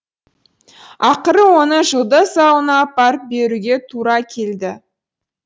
ақыры оны жұлдыз ауылына апарып беруге тура келді